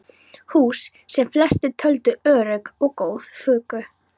Hús, sem flestir töldu örugg og góð, fuku.